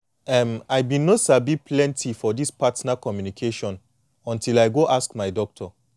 em i been no sabi plenty for this partner communication until i go ask my doctor